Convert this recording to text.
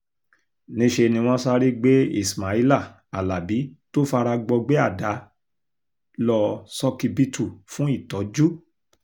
níṣẹ́ ni wọ́n sáré gbé ismaila alábi tó fara gbọgbẹ́ àdá lọ ṣókíbítù fún ìtọ́jú